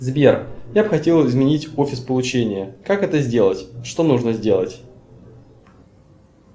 сбер я бы хотел изменить офис получения как это сделать что нужно сделать